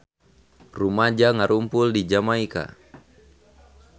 Rumaja ngarumpul di Jamaika